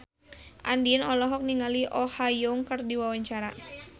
Andien olohok ningali Oh Ha Young keur diwawancara